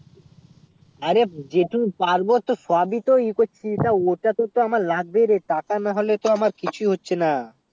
আরে যেত পারবো তো সব ই তো ই করছে অতটা তো আমার লাগবে রে টাকা টাকা না হলে তো আমার কিছু হচ্ছে না